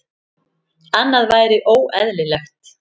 Annað væri óeðlilegt.